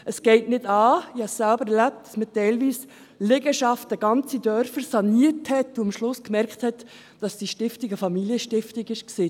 Es geht nicht an – ich habe es selber erlebt –, dass man teilweise Liegenschaften, ganze Dörfer saniert, wenn man am Schluss merkt, dass diese Stiftung eine Familienstiftung ist.